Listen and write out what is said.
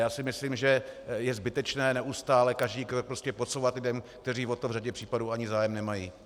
Já si myslím, že je zbytečné neustále každý krok prostě podsouvat lidem, kteří o to v řadě případů ani zájem nemají.